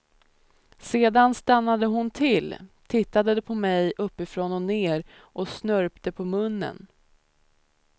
Sedan stannade hon till, tittade på mig uppifrån och ner och snörpte på munnen.